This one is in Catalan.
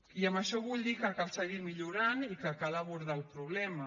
i amb això vull dir que cal seguir millorant i que cal abordar el problema